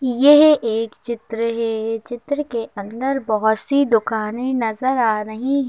यह एक चित्र है चित्र के अंदर बहुत सी दुकानें नजर आ रही है।